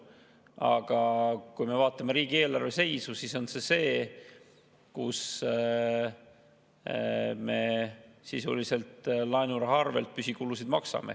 Aga kui me vaatame riigieelarve seisu, siis me sisuliselt maksame laenuraha arvel püsikulusid.